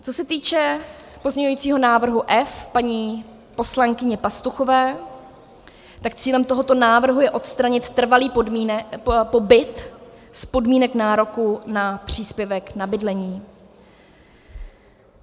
Co se týče pozměňujícího návrhu F paní poslankyně Pastuchové, tak cílem tohoto návrhu je odstranit trvalý pobyt z podmínek nároku na příspěvek na bydlení.